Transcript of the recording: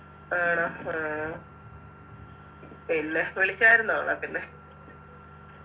ആണോ ആഹ് പിന്നെ വിളിച്ചാരുന്നോ നാട്ടീന്ന്